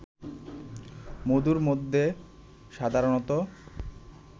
মধুর মধ্যে সাধারণত